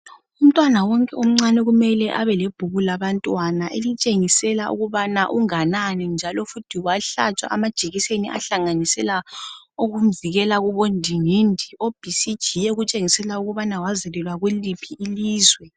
Umntwana wonke omcane kumele abe lebhuku labantwana elitshengisa ukuthi unganani, lokuthi wahlatshwa amajekiseni okuzivikela afana labo BCG, lejekiseni yokuvikela imikhuhlane efana labo ndingindi. Lelibhuku liyabonisa njalo ukuthi umntwana wazalelwa ngaphi kwendawo.